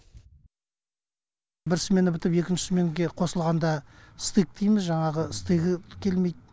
бір смена бітіп екінші сменге қосылғанда стык дейміз жаңағы стыгі келмейді